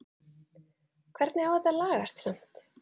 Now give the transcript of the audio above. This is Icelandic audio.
Hvernig á þetta að lagast samt??